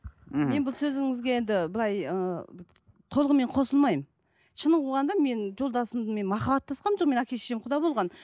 мхм мен бұл сөзіңізге енді былай ыыы толығымен қосылмаймын шынын қуғанда мен жолдасыммен махаббаттасқаным жоқ менің әке шешем құда болған